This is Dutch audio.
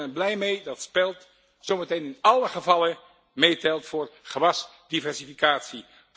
Ik ben er blij mee dat spelt zo dadelijk in alle gevallen meetelt voor gewasdiversificatie.